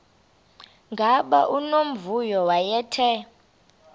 gama unomvuyo wayethe